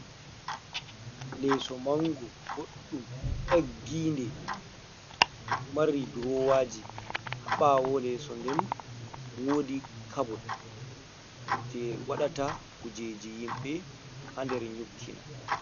Leso mango boɗɗum egginde mari durowaji, haɓawo leso nden wodi kabot je waɗata kujeji yimɓe ha nder nyokkina.